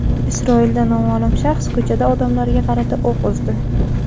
Isroilda noma’lum shaxs ko‘chada odamlarga qarata o‘q uzdi.